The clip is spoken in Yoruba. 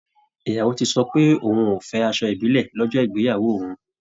Ìyàwó ti sọ pé òun ò fẹ́ asọ ìbílẹ̀ lọ́jọ́ ìgbeyàwó òun